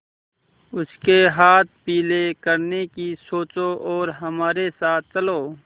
उसके हाथ पीले करने की सोचो और हमारे साथ चलो